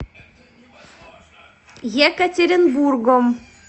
екатеринбургом